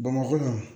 Bamakɔ yan